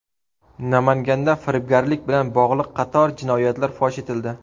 Namanganda firibgarlik bilan bog‘liq qator jinoyatlar fosh etildi.